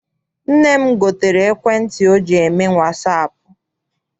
Nne m gotere ekwentị ọ ji eme wasaapụ.